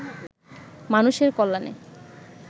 মানুষের কল্যাণে